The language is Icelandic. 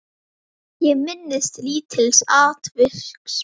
Ég minnist lítils atviks.